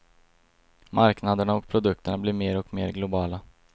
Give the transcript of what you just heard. Marknaderna och produkterna blir mer och mer globala.